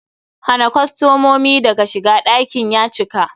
Hana kostomomi daga shiga, ɗakin ya cika!